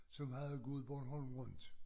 Som havde gået Bornholm rundt